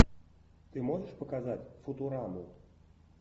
ты можешь показать футураму